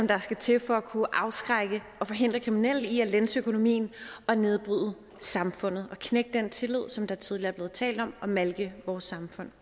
der skal til for at kunne afskrække og forhindre kriminelle i at lænse økonomien og nedbryde samfundet og knække den tillid der tidligere er blevet talt om og malke vores samfund